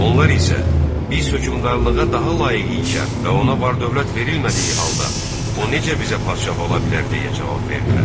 Onlar isə biz hökmdarlığa daha layiq ikən və ona var-dövlət verilmədiyi halda o necə bizə padşah ola bilər deyə cavab verdilər.